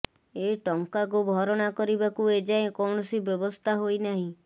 ଏ ଟଙ୍କାକୁ ଭରଣା କରିବାକୁ ଏଯାଏ କୌଣସି ବ୍ୟବସ୍ଥା ହୋଇନାହିଁ